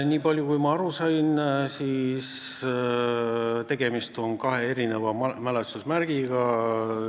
Nii palju kui ma aru sain, siis on tegemist kahe mälestusmärgiga.